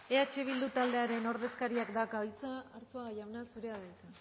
eh bildu taldearen ordezkariak dauka hitza arzuaga jauna zurea da hitza